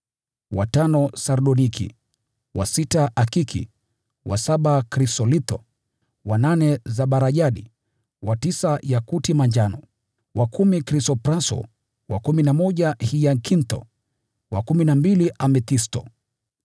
wa tano sardoniki, wa sita akiki, wa saba krisolitho, wa nane zabarajadi, wa tisa yakuti manjano, wa kumi krisopraso, wa kumi na moja hiakintho, wa kumi na mbili amethisto.